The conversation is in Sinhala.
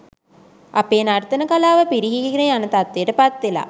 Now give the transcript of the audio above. අපේ නර්තන කලාව පිරිහීගෙන යන තත්ත්වයට පත්වෙලා.